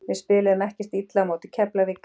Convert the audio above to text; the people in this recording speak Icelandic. Við spiluðum ekkert illa á móti Keflavík.